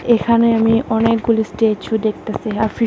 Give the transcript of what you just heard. এখানে আমি অনেকগুলি স্ট্যাচু দেখতাসি ।